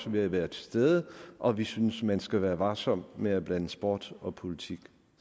ved at være til stede og at vi synes at man skal være varsom med at blande sport og politik